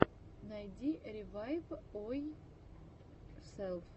найди ревайвйорселф